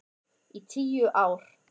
Í tíu ár.